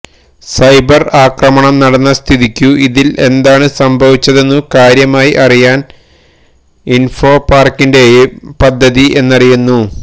cyber ആക്രമണം നടന്ന സ്ഥിതിക്കു ഇതിൽ എന്താണ് സംഭവിച്ചതെന്നു കാര്യമായി അറിയാണ് ഇൻഫോ പാർക്കിന്റെയും പദ്ധതി എന്നറിയുന്നു